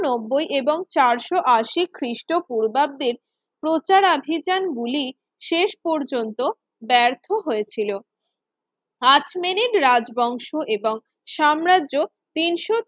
নব্বই এবং চারশো আশি খ্রিস্টপূর্বাব্দের প্রচার আভিযান গুলি শেষ পর্যন্ত ব্যর্থ হয়েছিল আর্চমেনির রাজবংশ এবং সাম্রাজ্য তিনশো